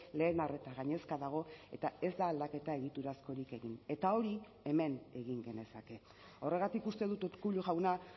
lehen arreta gainezka dago eta ez da aldaketa egiturazkorik egin eta hori hemen egin genezake horregatik uste dut urkullu jauna